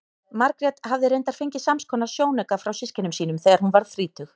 Margrét hafði reyndar fengið samskonar sjónauka frá systkinum sínum þegar hún varð þrítug.